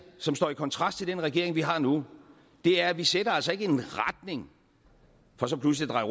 som står i kontrast til den regering vi har nu er at vi sætter altså ikke en retning for så pludslig at